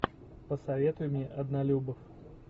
посоветуй мне однолюбов